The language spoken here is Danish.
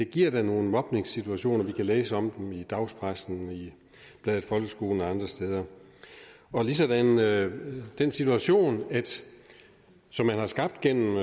giver nogle mobningssituationer vi kan læse om dem i dagspressen i bladet folkeskolen og andre steder ligesådan med den situation som man har skabt gennem